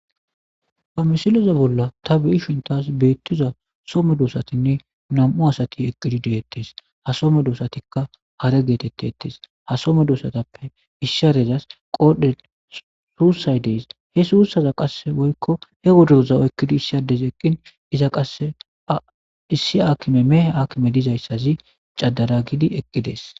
Ha missileza bolla ta beishin tas bettizay so medossatine nam'u asati eqqidi dettes ha soho medosatika haare gettetes ha soho meddosatape issi haarezas qodhdhen suusay des he suusaza woykko he woddoroza oykkidi issi adezi eqqin iza qasse issi akimey mehe akime dizaysazi cadana gidi eqqiudes.